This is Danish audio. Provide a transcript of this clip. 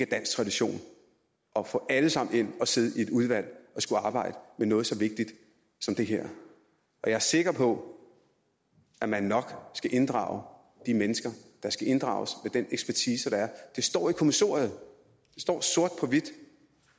dansk tradition at få alle sammen ind at sidde i et udvalg og skulle arbejde med noget så vigtigt som det her jeg er sikker på at man nok skal inddrage de mennesker der skal inddrages med den ekspertise der er det står i kommissoriet det står sort på hvidt